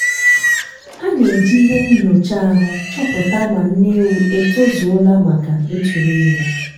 a na-eji ihe nnyocha ahụ chọpụta ma nne ewu e tozuola maka ịtụrụ ime.